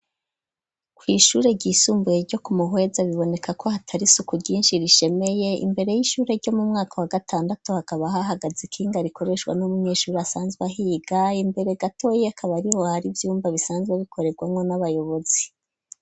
Kw'ishure ryisumbuye ryo ku Muhweza biboneka ko hatari isuku ryinshi rishemeye imbere y'ishure ryo mu mwaka wa gatandatu hakaba hahagaze ikinga rikoreshwa n'umunyeshuri asanzwe ahiga, imbere gatoye akaba ariho hari ivyumba bisanzwe bikorerwanko n'abayobozi.